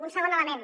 un segon element